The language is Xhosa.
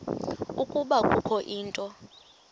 ukuba kukho into